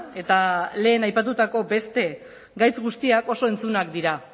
eta lehen aipatutako beste gaitz guztiak oso entzunak dira